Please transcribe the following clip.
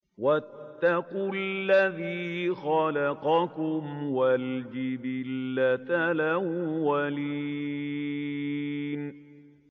وَاتَّقُوا الَّذِي خَلَقَكُمْ وَالْجِبِلَّةَ الْأَوَّلِينَ